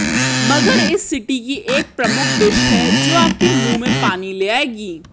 मगर इस सिटी की एक प्रमुख डिश है जो आपके मुंह में पानी ले आएगी